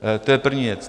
To je první věc.